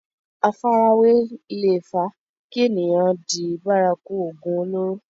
àfarawé leè fa kí èèyàn di bárakú ògùn olóró